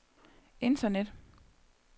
internet